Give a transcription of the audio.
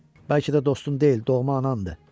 Bəlkə də dostun deyil, doğma anandır.